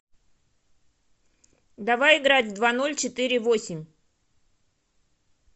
давай играть в два ноль четыре восемь